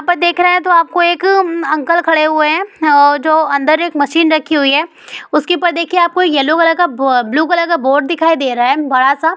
यह पर देख रहे तो आपको एक अंकल खड़े हुए है और जो अंदर एक मशीन रखी हुई है उसके ऊपर देखिये कलर का ब्लू कलर का बोर्ड दिखाई दे रहा है बड़ा सा ।